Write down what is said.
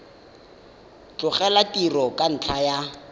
tlogela tiro ka ntlha ya